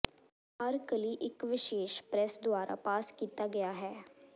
ਹਰ ਕਲੀ ਇੱਕ ਵਿਸ਼ੇਸ਼ ਪ੍ਰੈਸ ਦੁਆਰਾ ਪਾਸ ਕੀਤਾ ਗਿਆ ਹੈ